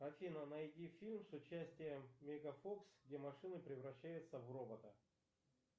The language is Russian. афина найди фильм с участием меган фокс где машина превращается в робота